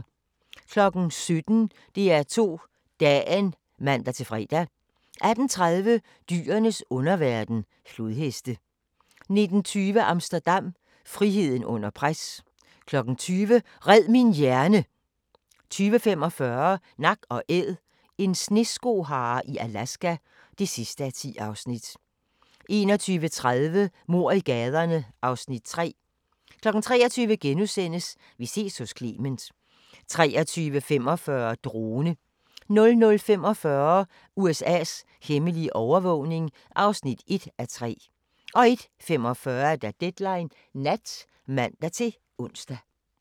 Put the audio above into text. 17:00: DR2 Dagen (man-fre) 18:30: Dyrenes underverden – flodheste 19:20: Amsterdam – friheden under pres 20:00: Red min hjerne! 20:45: Nak & Æd – en sneskohare i Alaska (10:10) 21:30: Mord i gaderne (Afs. 3) 23:00: Vi ses hos Clement * 23:45: Drone 00:45: USA's hemmelige overvågning (1:3) 01:45: Deadline Nat (man-ons)